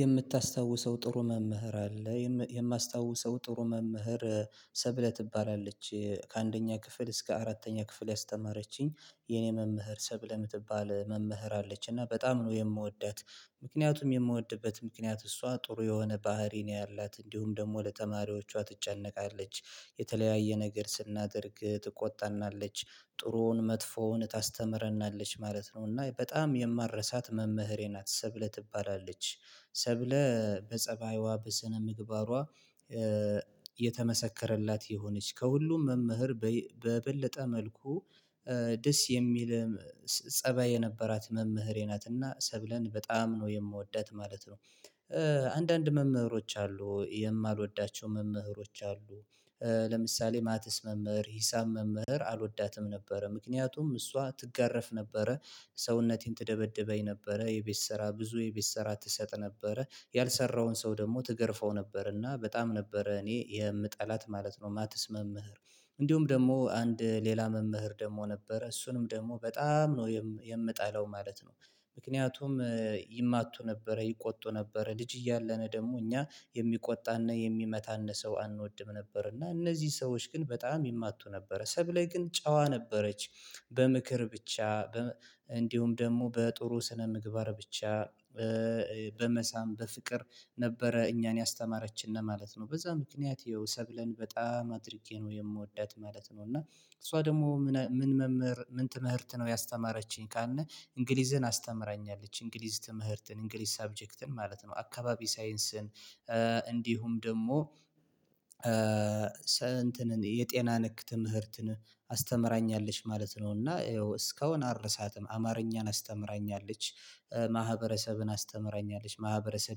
የምታስታውሰው ጥሩ መምህር አለ የማስታውሰው ጥሩ መምህር ሰብለ ትባላለች ከአንደኛ ክፍል እስከ አራተኛ ክፍል ያስተማረችኝ የኔ መምህር ሰብለ ምትባል መምህር አለች እና በጣም ነው የምወዳት። ምክንያቱም የምወድበት ምክንያት እሷ ጥሩ የሆነ ባህሪ ነው ያላት እንዲሁም ደግሞ ለተማሪዎቿ ትጨነቃለች። የተለያየ ነገር ስናደርግ ትቆጣናለች ጥሩውን መጥፎውን ታስተምረናለች ማለት ነው እና በጣም የማረሳት መምህሬ ናት። ሰብለ ትባላለች ሰብለ በጸባይዋ በስነ ምግባሯ የተመሰከረላት የሆነች ከሁሉም መምህር በበለጠ መልኩ ደስ የሚል ፀባይ የነበራት መምህሬ ናትና ሰብለን በጣም ነው የምወዳት ማለት ነው። አንዳንድ መምህሮች አሉ የማልወዳቸው መምህሮች አሉ። ለምሳሌ ማተስ መምህር ሂሳብ መምህር አልወዳትም ነበረ ምክንያቱም እሷ ትጋረፍ ነበረ። ሰውነቴን ትደበድበኝ ነበረ የቤት ስራ ብዙ የቤት ስራ ትሰጥ ነበረ ያልሰራውን ሰው ደግሞ ትገርፈው ነበር እና በጣም ነበረ እኔ የምጠላት ማለት ነው የማትስ መምህር። እንዲሁም ደግሞ አንድ ሌላ መምህር ደግሞ ነበረ እሱንም ደግሞ በጣም ነው የምጣለው ማለት ነው። ምክንያቱም ይማቱ ነበረ ይቆጡ ነበረ ልጅ እያለን ደግሞ እኛ የሚቆጣንና የሚመታን ሰው አንወድም ነበር እና እነዚህ ሰዎች ግን በጣም ይማቱ ነበረ ሰብ ላይ ግን ጨዋ ነበረች። በምክር ብቻ እንዲሁም ደግሞ በጥሩ ስነ ምግባር ብቻ በመሳም በፍቅር ነበረ እኛን ያስተማረችን ማለት ነው በዛ ምክንያት ነው ሰብለን በጣም አድርጌ ነው የምወዳት ማለት ነው። እና እሷ ደግሞ ምን መምህር ምን ትምህርት ነው ያስተማረችኝ ካልነ? እንግሊዝህን አስተምራናለች እንግሊዝ ትምህርትን እንግሊዝ ሳብጀክትን ማለት ነው አካባቢ ሳይንስን እንዲሁም ደግሞ ሰንትን የጤና ነክ ትምህርትን አስተምራኛለች ማለት ነው እና እስካሁን አረሳትም አማርኛን አስተምራኛለች። ማህበረሰብን አስተምራኛለች ማህበረሰብ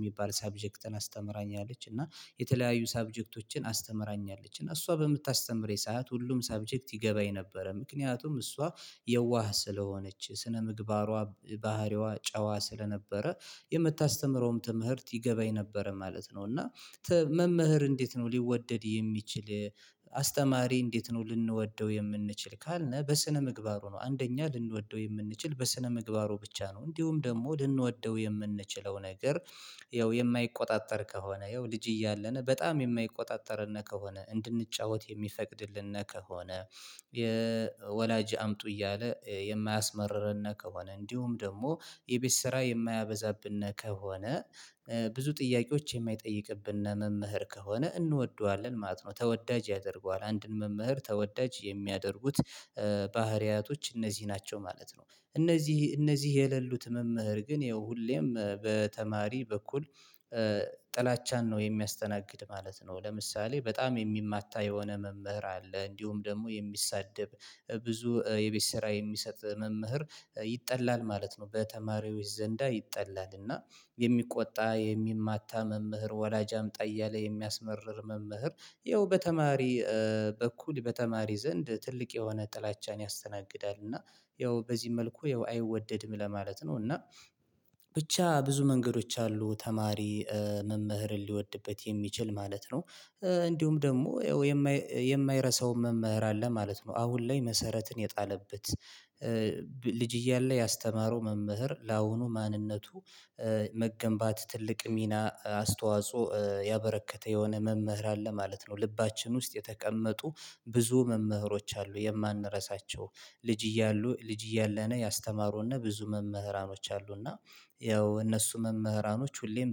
የሚባል ሳብጀክትን አስተምራኛለች እና የተለያዩ ሳብጀክቶችን አስተምራኛለች እና እሷ በምታስተምረኝ ሰዓት ሁሉም ሰብጀክት ይገባኝ ነበረ ምክንያቱም እሷ። የዋህ ስለሆነች ስነ ምግባሯ ባህሪዋ ጨዋ ስለነበረ የምታስተምረውም ትምህርት ይገባኝ ነበረ ማለት ነው እና። መምህር እንዴት ነው ሊወደድ የሚችል? አስተማሪ እንዴት ነው ልንወደው የምንችል ካልነህ በስነ ምግባሩ ነው አንደኛ ልንወደው የምንችል በስነ ምግባሩ ብቻ ነው እንዲሁም ደግሞ ልንወደው የምንችለው ነገር። ያው የማይቆጣጠር ከሆነ ያው ልጅ እያለን በጣም የማይቆጣጠርን ከሆነ እንድንጫወት የሚፈቅድልን ከሆነ። የወላጅ አምጡ እያለ የማያስመርርን ከሆነ እንዲሁም ደግሞ የቤት ስራ የማያበዛብን ከሆነ። ብዙ ጥያቄዎች የማይጠይቅብን መምህር ከሆነ እንወደዋለን ማለት ነው ተወዳጅ ያደርገዋል አንድን መምህር ተወዳጅ የሚያደርጉት ባህሪያቶች እነዚህ ናቸው ማለት ነው። እነዚህ እነዚህ የሌሉት መምህር ግን ይኸው ሁሌም በተማሪ በኩል። ጥላቻን ነው የሚያስተናግድ ማለት ነው። ለምሳሌ በጣም የሚማታ የሆነ መምህር አለ እንዲሁም ደግሞ የሚሳደብ። ብዙ የቤት ስራ የሚሰጥ መምህር ይጠላል ማለት ነው። በተማሪዎች ዘንዳ ይጠላል እና የሚቆጣ የሚማታ መምህር ወላጅ አምጣ እያለ የሚያስመርር መምህር። ይኸው በተማሪ በኩል በተማሪ ዘንድ ትልቅ የሆነ ጥላቻን ያስተናግዳል እና ያው በዚህ መልኩ ያው አይወደድም ለማለት ነው እና። ብቻ ብዙ መንገዶች አሉ ተማሪ መምህርን ሊወድበት የሚችል ማለት ነው። እንዲሁም ደግሞ የማይረሳው መምህር አለ ማለት ነው። አሁን ላይ መሰረትን የጣለበት ልጅ እያለ ያስተማረው መምህር ለአሁኑ ማንነቱ። መገንባት ትልቅ ሚና አስተዋጽኦ ያበረከተ የሆነ መምህር አለ ማለት ነው። ልባችን ውስጥ የተቀመጡ ብዙ መምህሮች አሉ የማንረሳቸው። ልጅ እያሉ ልጅ እያለነ ያስተማሩና ብዙ መምህራኖች አሉና ያው እነሱ መምህራኖች ሁሌም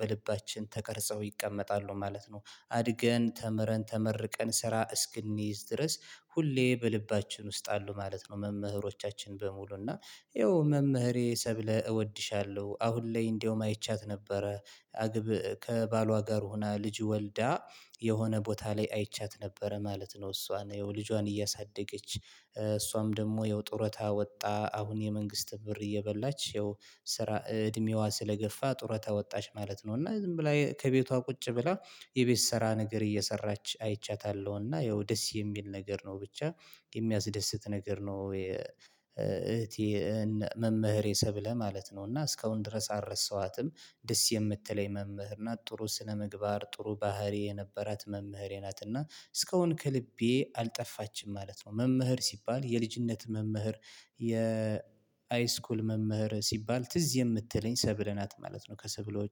በልባችን ተቀርጸው ይቀመጣሉ ማለት ነው። አድገን ተምረን ተመርቀን ስራ እስክንይዝ ድረስ ሁሌ በልባችን ውስጥ አሉ ማለት ነው። መምህሮቻችን በሙሉ እና ይኸው መምህሬ ሰብለ እወድሻለሁ አሁን ላይ እንደውም አይቻት ነበረ። አግብ ከባሏ ጋር ሆና ልጅ ወልዳ የሆነ ቦታ ላይ አይቻት ነበረ ማለት ነው። እሷን ይኸው ልጇን እያሳደገች እሷም ደግሞ ይኸው ጡረታ ወጥታ አሁን የመንግስት ብር እየበላች ያው። ስራ እድሜዋ ስለገፋ ጡረታ ወጣች ማለት ነው እና ዝም ብላ ከቤቷ ቁጭ ብላ የቤት ስራ ነገር እየሰራች አይቻታለሁ እና ያው ደስ የሚል ነገር ነው ብቻ የሚያስደስት ነገር ነው። እህቴን መምህሬ ሰብለህ ማለት ነው እና እስካሁን ድረስ አልረሳኋትም። ደስ የምትለኝ መምህር ናት ጥሩ ስነምግባር ጥሩ ባህሪ የነበራት መምህሬ ናት እና እስካሁን ከልቤ አልጠፋችም ማለት ነው። መምህር ሲባል የልጅነት መምህር የ አይስኩል መምህር ሲባል ትዝ የምትለኝ ሰብለ ናት ማለት ነው። ከሰብለው